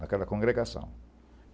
Naquela congregação.